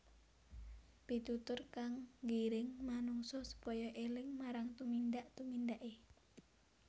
Pitutur kang nggiring manungsa supaya éling marang tumindak tumindaké